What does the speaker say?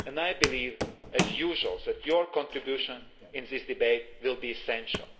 I believe, as usual, that your contribution to this debate will be essential.